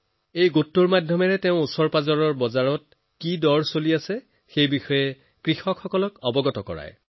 এই গ্ৰুপত তেওঁ সদায় ওচৰপাজৰৰ মণ্ডিবিলাকত কি দাম চলি আছে ইয়াৰ খবৰ কৃষকসকলক দিয়ে